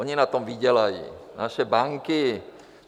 Ony na tom vydělají, naše banky.